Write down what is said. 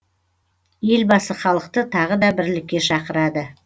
елбасы халықты тағы да бірлікке шақырады